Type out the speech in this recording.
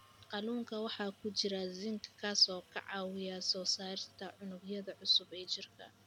Kalluunka waxaa ku jira zinc, kaas oo ka caawiya soo saarista unugyada cusub ee jirka.